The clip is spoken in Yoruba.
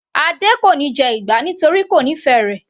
Adé kò níí jẹ ìgbá torí kò nífẹ̀ẹ́ rẹ̀.